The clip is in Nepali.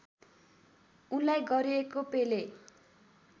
उनलाई गरिएको पेले